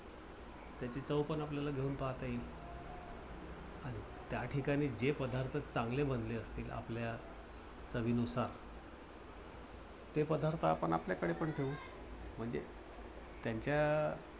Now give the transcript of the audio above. त्याची चव पण आपल्याला घेऊन पाहता येईल. त्याठिकाणी जे पदार्थ चांगले बनले असतील. आपल्या चवीनुसार ते पदार्थ आपण आपल्याकडे पण ठेवू. म्हणजे त्यांच्या